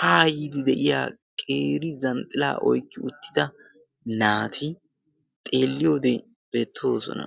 haa yiidi de7iya qeeri-zanxxilaa oyqqi uttida naati xeelliyoode beettoosona